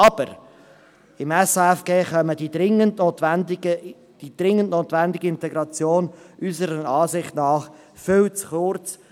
Aber: Im SAFG kommt die dringend notwendige Integration unserer Ansicht nach viel zu kurz.